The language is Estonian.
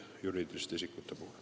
Henn Põlluaas.